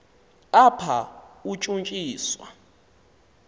apha utshutshi swa